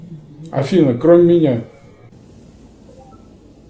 афина кроме меня